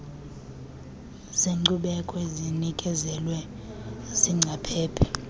zeenkcubeko ezinikezelwe ziingcaphephe